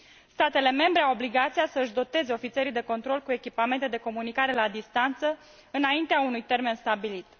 Statele membre au obligația să își doteze ofițerii de control cu echipamente de comunicare la distanță înaintea unui termen stabilit.